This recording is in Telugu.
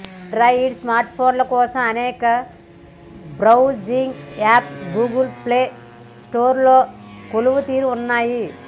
ఆండ్రాయిడ్ స్మార్ట్ఫోన్ల కోసం అనేక బ్రౌజింగ్ యాప్స్ గూగుల్ ప్లే స్టోర్లో కొలువుతీరి ఉన్నాయి